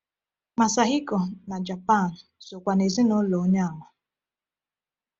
Masahiko, na Japan, sokwa n’ezinụlọ Onye Àmà.